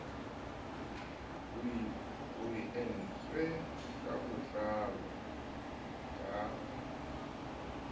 o entswe ka botlalo ka